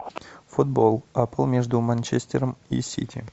футбол апл между манчестером и сити